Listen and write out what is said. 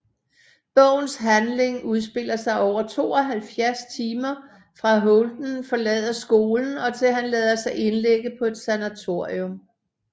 Bogens handling udspiller sig over 72 timer fra Holden forlader skolen og til han lader sig indlægge på et sanatorium